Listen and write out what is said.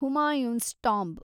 Humayun's tomb